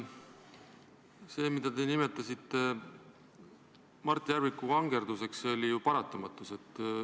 See, mida te nimetasite Mart Järviku vangerdamiseks, oli ju paratamatus.